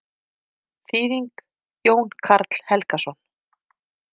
Þýðing: Jón Karl Helgason.